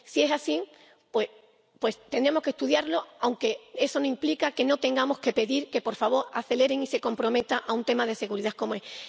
Si es así, tenemos que estudiarlo, aunque eso no implica que no tengamos que pedirle que, por favor, acelere y se comprometa con un tema de seguridad como este.